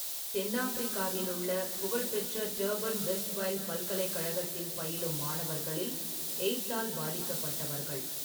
தென் ஆப்பிரிக்காவிலுள்ள புகழ்பெற்ற Durban Westville பல்கலைக்கழகத்தில் பயிலும் மாணவர்களில் எய்ட்ஸ்ஸால் பாதிக்கப்பட்டவர்கள்.